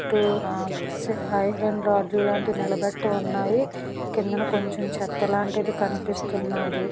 ఇటు ఆ ఐరన్ రాడ్లు లాంటివి నిలబెట్టి ఉన్నాయి కిందన కొంచెం చెత్త లాంటిది కనిపిస్తా ఉన్నదీ .